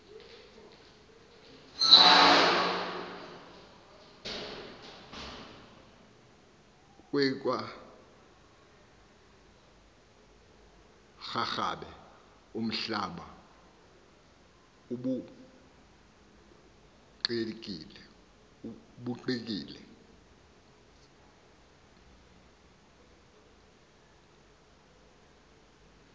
kweiakwarharhabe umhlaba ubhukuqekile